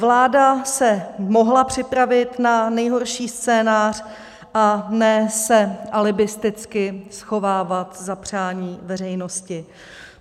Vláda se mohla připravit na nejhorší scénář, a ne se alibisticky schovávat za přání veřejnosti.